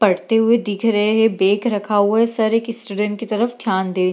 पढ़ते हुए दिख रहे हैं। बैग रखा हुआ है। सर एक स्टूडेंट के तरफ ध्यान दे रहे --